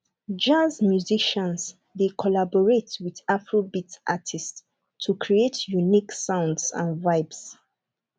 jazz musicians dey collaborate with afrobeat artists to create unique sounds and vibes